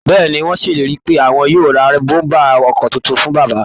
Bẹ́ẹ̀ ni, wọ́n ṣèlérí pé àwọn yóò ra bọ́m̀bà ọkọ̀ tuntun fún bàbá